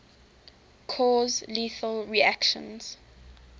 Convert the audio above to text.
cause lethal reactions